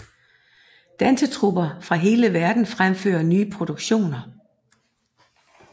Dansetrupper fra hele verden fremfører nye produktioner